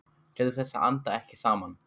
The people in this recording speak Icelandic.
Til þess að anda ekki saman.